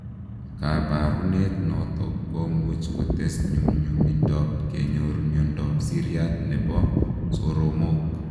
Kabarunet notok komuuch kotes nyumnyumindop kenyor miondop siryat nepoo soromok